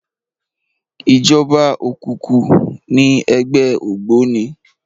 Ijòba ókúkú ni ègbè ógbóni